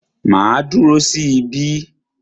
Màá dúró sí ibí.